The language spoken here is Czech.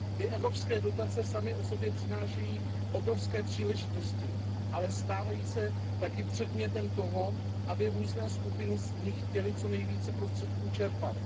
Ty evropské dotace samy o sobě přinášejí obrovské příležitosti, ale stávají se také předmětem toho, aby z nich různé skupiny chtěly co nejvíce prostředků čerpat.